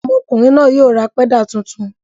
Ọmọkùnrin náà yóò ra pẹ́dà tuntun.